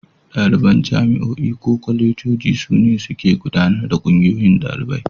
Ɗaliban jami'o'i ko kwalejoji su ne suke gudanar da Ƙungiyoyin Ɗalibai.